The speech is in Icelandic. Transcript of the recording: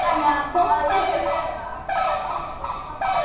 Þóttist vera að gá að Badda.